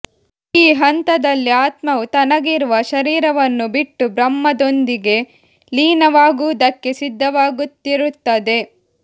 ಈ ಹಂತದಲ್ಲಿ ಆತ್ಮವು ತನಗಿರುವ ಶರೀರವನ್ನು ಬಿಟ್ಟು ಬ್ರಹ್ಮದೊಂದಿಗೆ ಲೀನವಾಗುವುದಕ್ಕೆ ಸಿದ್ಧವಾಗುತ್ತಿರುತ್ತದೆ